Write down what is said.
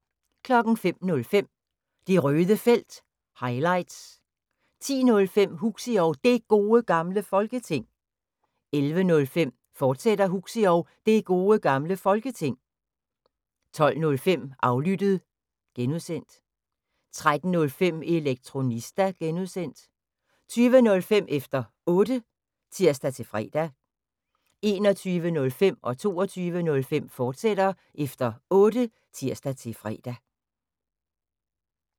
05:05: Det Røde Felt – highlights 10:05: Huxi og Det Gode Gamle Folketing 11:05: Huxi og Det Gode Gamle Folketing, fortsat 12:05: Aflyttet (G) 13:05: Elektronista (G) 20:05: Efter Otte (tir-fre) 21:05: Efter Otte, fortsat (tir-fre) 22:05: Efter Otte, fortsat (tir-fre)